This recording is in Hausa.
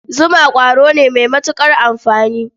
Zuma ƙwaro ne mai matuƙar amfani.